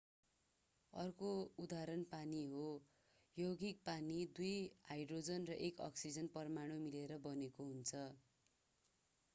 अर्को उदाहरण पानी हो यौगिक पानी दुई हाइड्रोजन र एक अक्सिजन परमाणु मिलेर बनेको छ